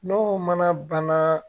N'o mana banna